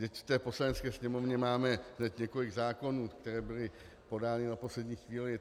Vždyť v té Poslanecké sněmovně máme hned několik zákonů, které byly podány na poslední chvíli.